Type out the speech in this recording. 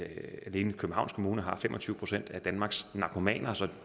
alene københavns kommune har fem og tyve procent af danmarks narkomaner så